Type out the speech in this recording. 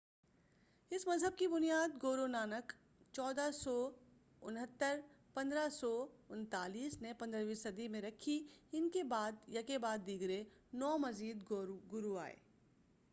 اس مذہب کی بنیاد گورو نانک 1469-1539 نے 15 ویں صدی میں رکھی۔ ان کے بعد یکے بعد دیگرے نو مزید گورو آئے۔